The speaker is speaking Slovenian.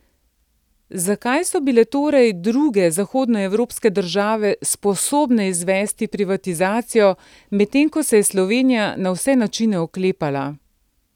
Zakaj so bile torej druge zahodnoevropske države sposobne izvesti privatizacijo, medtem ko se je je Slovenija na vse načine oklepala?